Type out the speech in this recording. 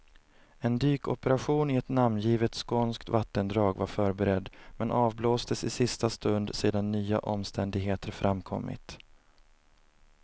En dykoperation i ett namngivet skånskt vattendrag var förberedd, men avblåstes i sista stund sedan nya omständigheter framkommit.